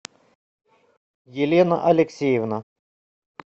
елена алексеевна